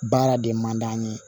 Baara de man d'an ye